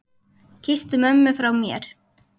Kysstu mömmu frá mér.